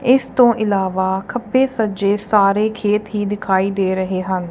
ਇਸ ਤੋਂ ਇਲਾਵਾ ਖੱਬੇ ਸੱਜੇ ਸਾਰੇ ਖੇਤ ਹੀ ਦਿਖਾਈ ਦੇ ਰਹੇ ਹਨ।